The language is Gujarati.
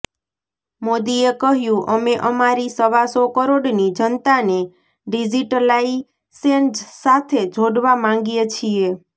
મોદીએ કહ્યું અમે અમારી સવા સો કરોડની જનતાને ડીઝીટલાઇશેન સાથે જોડવા માંગીએ છીએ